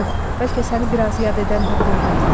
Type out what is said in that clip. Yox, bəlkə səni biraz yad edən tapıldı.